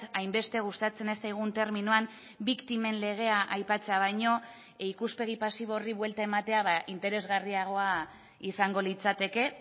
hainbeste gustatzen ez zaigun terminoan biktimen legea aipatzea baino ikuspegi pasibo horri buelta ematea interesgarriagoa izango litzateke